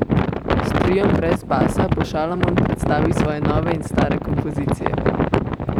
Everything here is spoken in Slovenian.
S triom brez basa bo Šalamon predstavil svoje nove in stare kompozicije.